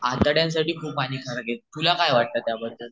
आतड्यांसाठी खूप हाणिकारक हाये तुला काय वाटतं त्यांबद्दल